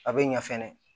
A bɛ ɲa fɛnɛ